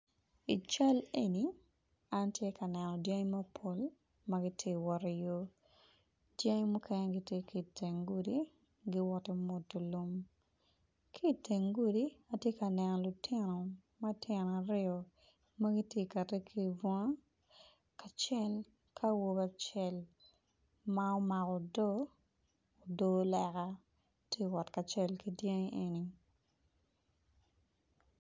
I cal eni atye ka neno dyangi mapol magitye wot i yo dyangi mukene gitye kiteng gudi giwot i mwodo lum kiteng gudi atye ka neno lutino matino aryo magitye kati kibunga acel ki awobi acel ma omako odo odo leka tye wot kacel ki dyangi eni.